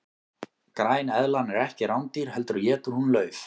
græneðlan er ekki rándýr heldur étur hún lauf